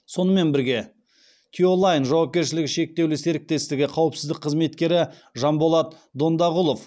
сонымен бірге тиолайн жауапкершілігі шектеулі серіктестігі қауіпсіздік қызметкері жанболат дондағұлов